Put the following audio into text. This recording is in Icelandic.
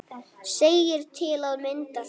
segir til að mynda þetta